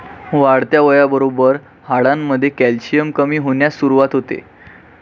वाढत्या वयाबरोबर हाडांमध्ये कॅल्शियम कमी होण्यास सुरुवात होते.